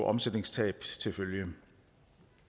omsætningstab til følge